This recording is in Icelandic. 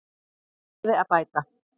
Úr því verði að bæta.